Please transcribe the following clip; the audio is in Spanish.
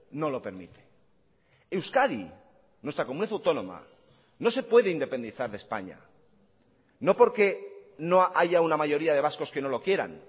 no lo permite euskadi nuestra comunidad autónoma no se puede independizar de españa no porque no haya una mayoría de vascos que no lo quieran